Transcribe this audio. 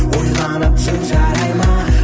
ойланып жүр жарай ма